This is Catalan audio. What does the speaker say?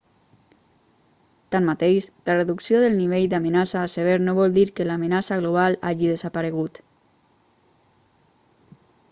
tanmateix la reducció del nivell d'amenaça a sever no vol dir que l'amenaça global hagi desaparegut